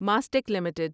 Mastek limited